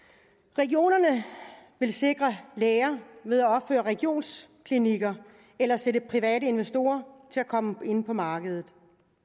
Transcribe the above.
regionerne vil sikre læger ved at opføre regionsklinikker eller sætte private investorer til at komme ind på markedet